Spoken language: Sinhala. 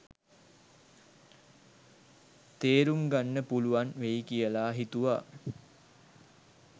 තේරුම්ගන්න පුළුවන් වෙයි කියල හිතුව‍.